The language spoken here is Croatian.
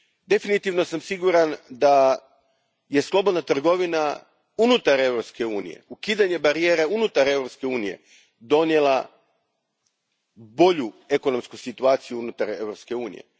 Definitivno sam siguran da je slobodna trgovina unutar Europske unije, ukidanje barijera unutar Europske unije, donijela bolju ekonomsku situaciju unutar Europske unije.